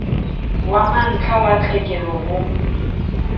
wa mantlha wa tlhekelo ho